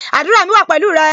Àdúrà mi wa pẹ̀lú rẹ